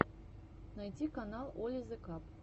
найти канал оли зе каб